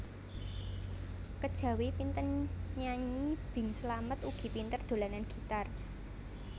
Kejawi pinten nyanyi Bing Slamet ugi pinter dolanan gitar